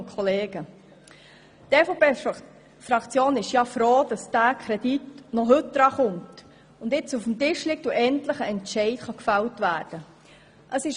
Die EVP-Fraktion ist froh, dass dieser Kredit noch heute debattiert und entschieden werden kann.